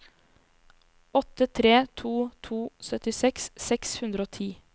åtte tre to to syttiseks seks hundre og ti